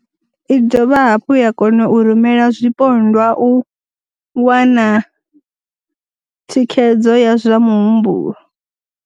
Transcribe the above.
I dovha hafhu ya kona u rumela zwipondwa u wana thikhedzo ya zwa muhumbulo.